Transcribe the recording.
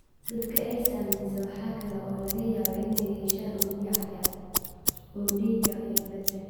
Dadka ay saamaysay waxa kale oo laga yaabaa inay yeeshaan unugyo cad cad oo dhiig ah iyo plateletka.